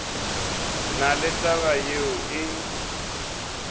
na le taba yeo e